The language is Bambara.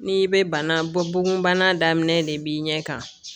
N'i bɛ bana bɔ bugunbana daminɛ de b'i ɲɛ kan